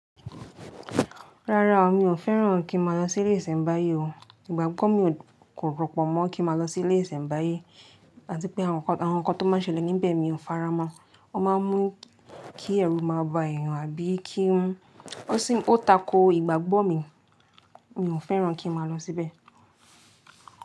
Rárá o, mi ò fẹ́ràn kí n máa lọ sí ilé ìsẹ̀mbáyé o. Ìgbàgbọ́ mi kò rọ́pọ̀ mọ́ kí n máa lọ sí ilé ìsẹ̀mbáyé, àti pé àwọn ńkan tó máa n ṣẹlẹ̀ níbẹ̀ mi ò faramọ́. Wọ́n máa n mú kí ẹrù máa ba èèyàn àbí kí ń. Ó takò ìgbàgbọ́ mi. Mi ò fẹ́ràn kí n máa lọ síbẹ̀